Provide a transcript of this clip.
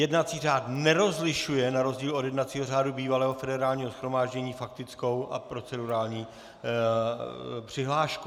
Jednací řád nerozlišuje, na rozdíl od jednacího řádu bývalého Federálního shromáždění, faktickou a procedurální přihlášku.